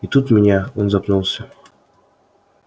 и тут меня он запнулся